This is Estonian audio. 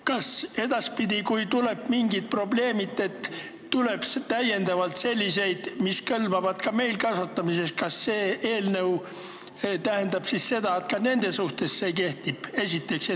Kui edaspidi tulevad mingid probleemid, sest tuleb täiendavalt selliseid kultuure, mis kõlbavad ka meil kasvatamiseks, kas see eelnõu siis ka nende kohta kehtib?